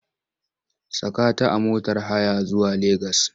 Saka ta a motar haya zuwa Legas!